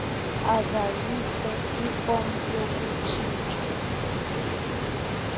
azalise ifom yokutshintshwa